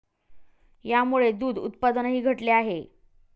यामुळे दूध उत्पादनही घटले आहे.